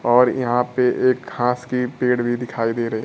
और यहां पे एक घास के पेड़ भी दिखाई दे रहे--